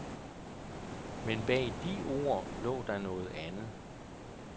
Men bag de ord lå der noget andet.